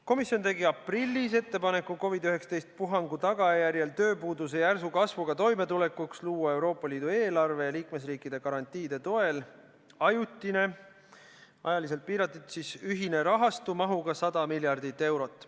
Komisjon tegi aprillis ettepaneku COVID-19 puhangu tagajärjel tekkinud tööpuuduse järsu kasvuga toimetulekuks luua Euroopa Liidu eelarve ja liikmesriikide garantiide toel ajutine, ajaliselt piiratud ühine rahastu mahuga 100 miljardit eurot.